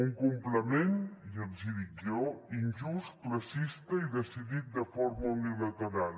un complement ja els hi dic jo injust classista i decidit de forma unilateral